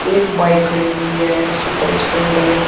एक बाइक खड़ी हुई है सुपर स्प्लेंडर ।